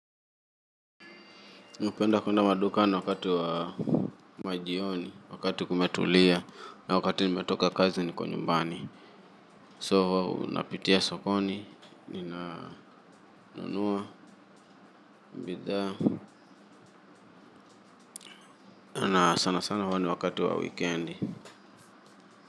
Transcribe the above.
Mi hupenda kuenda madukani wakati wa majioni, wakati kumetulia, na wakati nimetoka kazi niko nyumbani. So, unapitia sokoni, ninanunuwa, bidhaa, na sana sana huwa ni wakati wa wikendi.